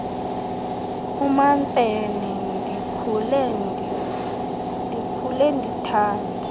umamfene ndikhule ndithandwa